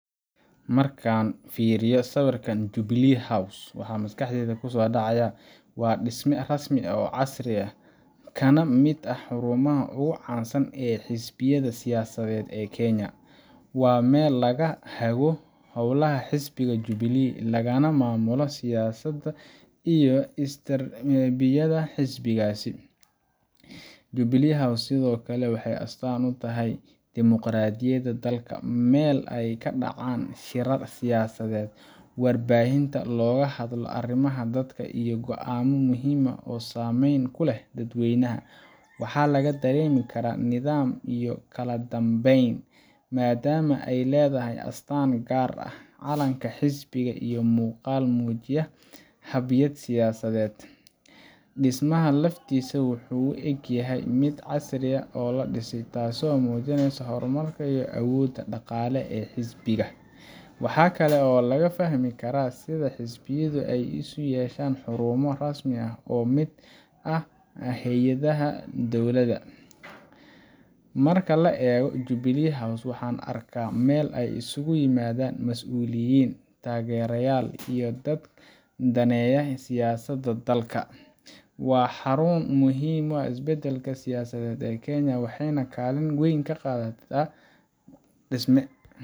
Marka aan fiiriyo sawirka Jubilee House, waxa maskaxdayda ku soo dhacaya waa dhisme rasmi ah oo casri ah, kana mid ah xarumaha ugu caansan ee xisbiyada siyaasadeed ee Kenya. Waa meel laga hago howlaha xisbiga Jubilee, lagana maamulo siyaasadda iyo istaraatijiyadda xisbigaasi. Jubilee House sidoo kale waxay astaan u tahay dimuqraadiyadda dalka meel ay ka dhacaan shirar siyaasadeed, warbaahinta looga hadlo arrimaha dalka, iyo go'aamo muhiim ah oo saameyn ku leh dadweynaha. Waxa laga dareemi karaa nidaam iyo kala dambeyn, maadaama ay leedahay astaan gaar ah, calanka xisbiga, iyo muuqaal muujinaya haybad siyaasadeed. Dhismaha laftiisa wuxuu u eg yahay mid si casri ah loo dhisay, taasoo muujinaysa horumarka iyo awoodda dhaqaale ee xisbiga. Waxa kale oo laga fahmi karaa sida xisbiyadu ay u yeesheen xarumo rasmi ah oo mid ah hay’adaha dowladda. Marka la eego Jubilee House waxaan arkaa meel ay isugu yimaadaan mas’uuliyiin, taageerayaal, iyo dadka daneeya siyaasadda dalka. Waa xarun muhiim u ah isbeddelka siyaasadeed ee Kenya, waxayna kaalin weyn ka qadataa dhisme